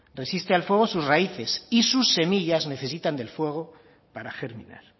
resiste al fuego sus raíces y sus semillas necesitan del fuego para germinar